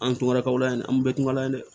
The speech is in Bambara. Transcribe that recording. An tun ka kaw layɛ nin an bɛɛ tun ka la ye dɛ